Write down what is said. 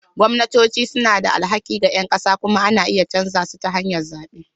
Gwamnatoci suna da alhaki ga ƴan ƙasa kuma ana iya canza su ta hanyar zaɓe.